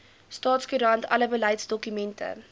staatskoerant alle beleidsdokumente